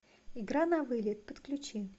игра навылет подключи